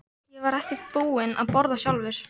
Ég var ekkert búinn að borða sjálfur.